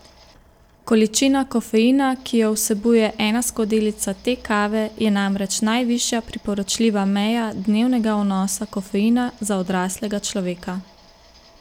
Količina kofeina, ki jo vsebuje ena skodelica te kave, je namreč najvišja priporočljiva meja dnevnega vnosa kofeina za odraslega človeka.